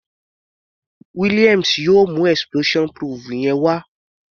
Williams yóò mú explosion proof yẹn wá.